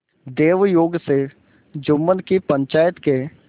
दैवयोग से जुम्मन की पंचायत के